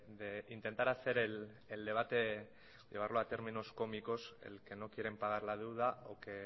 de intentar hacer el debate a llevarlo a términos cómicos el que no quieren pagar la deuda o que